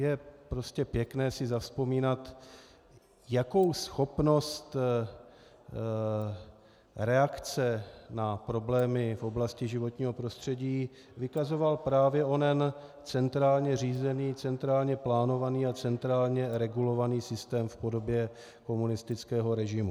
Je prostě pěkné si zavzpomínat, jakou schopnost reakce na problémy v oblasti životního prostředí vykazoval právě onen centrálně řízený, centrálně plánovaný a centrálně regulovaný systém v podobě komunistického režimu.